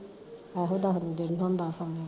ਏਹੋ ਦਸ ਨੂੰ ਜੇੜੀ ਹੁਣ ਦਾਸ ਆਉਣੀ ਆ